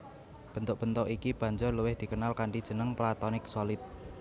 Bentuk bentuk iki banjur luwih dikenal kanthi jeneng Platonic Solid